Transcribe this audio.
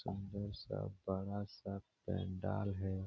सुंदर सा बड़ा-सा पंडाल है।